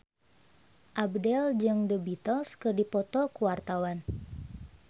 Abdel jeung The Beatles keur dipoto ku wartawan